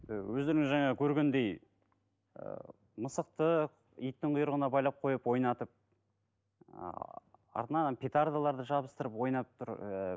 ііі өздеріңіз жаңа көргендей ііі мысықты иттің құйрығына байлап қойып ойнатып ы артынан ана петардыларды жабыстырып ойнап тұр ііі